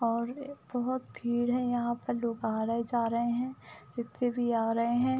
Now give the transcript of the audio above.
और बोहोत भीड़ है। यहाँ पर लोग आ रहे जा रहे हैं। खुद से भी आ रहे हैं।